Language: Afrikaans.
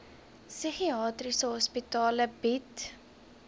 psigiatriese hospitale bied